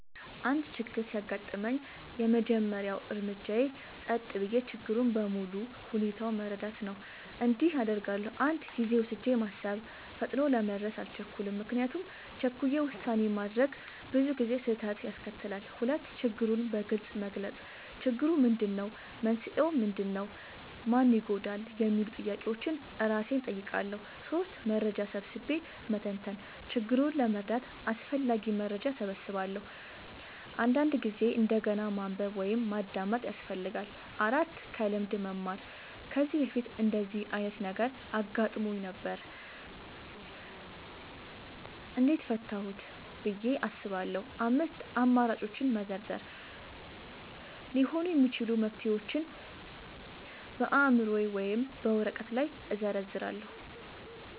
አንድ ችግር ሲያጋጥመኝ፣ የመጀመሪያው እርምጃዬ ጸጥ ብዬ ችግሩን በሙሉ ሁኔታው መረዳት ነው። እንዲህ አደርጋለሁ፦ 1. ጊዜ ወስጄ ማሰብ – ፈጥኖ ለመድረስ አልቸኩልም፤ ምክንያቱም ቸኩሎ ውሳኔ ማድረግ ብዙ ጊዜ ስህተት ያስከትላል። 2. ችግሩን በግልጽ መግለጽ – "ችግሩ ምንድነው? መንስኤው ምንድነው? ማን ይጎዳል?" የሚሉ ጥያቄዎችን እራሴን እጠይቃለሁ። 3. መረጃ ሰብስቤ መተንተን – ችግሩን ለመረዳት አስፈላጊ መረጃ እሰበስባለሁ፤ አንዳንድ ጊዜ እንደገና ማንበብ ወይም ማዳመጥ ያስፈልጋል። 4. ከልምድ መማር – "ከዚህ በፊት እንደዚህ ዓይነት ነገር አጋጥሞኝ ነበር? እንዴት ፈታሁት?" ብዬ አስባለሁ። 5. አማራጮችን መዘርዘር – ሊሆኑ የሚችሉ መፍትሄዎችን በአእምሮዬ ወይም በወረቀት ላይ እዘርዝራለሁ።